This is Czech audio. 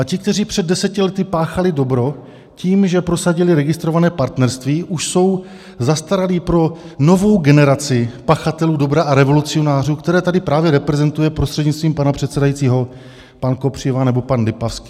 A ti, kteří před deseti lety páchali dobro tím, že prosadili registrované partnerství, už jsou zastaralí pro novou generaci pachatelů dobra a revolucionářů, které tady právě reprezentuje, prostřednictvím pana předsedajícího, pan Kopřiva nebo pan Lipavský.